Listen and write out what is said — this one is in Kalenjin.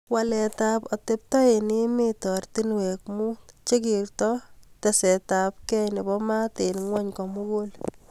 waleetab atepto eng emet ortinweek muut chekertoi tesetabgei nebo maat eng gwony kumugu